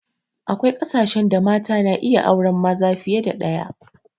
Akwai kasashen da mata na iya auren maza fiye da ɗaya